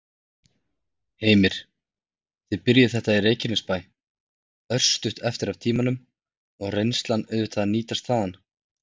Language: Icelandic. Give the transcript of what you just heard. Heimir: Þið byrjuðuð þetta í Reykjanesbær, örstutt eftir af tímanum, og reynslan auðvitað nýtist þaðan?